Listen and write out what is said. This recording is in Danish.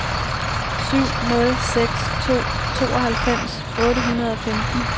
syv nul seks to tooghalvfems otte hundrede og femten